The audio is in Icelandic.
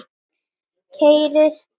Keyrir upp völlinn og skorar.